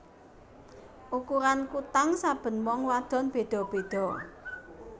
Ukuran kutang saben wong wadon beda beda